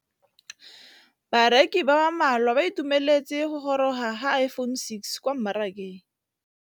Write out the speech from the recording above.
Bareki ba ba malwa ba ituemeletse go gôrôga ga Iphone6 kwa mmarakeng.